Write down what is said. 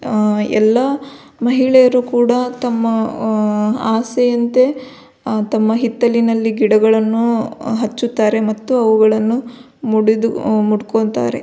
ಆ ಎಲ್ಲ ಮಹಿಳೆಯರು ಕೂಡ ತಮ್ಮ ಆ ಆಸೆಯಂತೆ ಆ ತಮ್ಮ ಹಿತ್ತಲಿನಲ್ಲಿ ಗಿಡಗಳನ್ನು ಹಚ್ಚುತ್ತಾರೆ ಮತ್ತು ಅವುಗಳನ್ನು ಮುಡಿದು ಮುಡಿಕೊಳ್ಳುತ್ತಾರೆ.